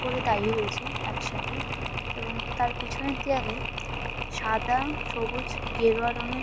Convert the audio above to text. উপরে দাঁড়িয়ে রয়েছে একসাথে এবং তার পিছনের দেওয়ালে সাদা সবুজ গেরুয়া রঙের--